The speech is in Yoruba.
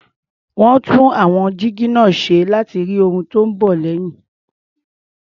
Wọ́n tún àwọn jígí náà ṣe láti rí ohun tó ń bọ̀ lẹ́yìn.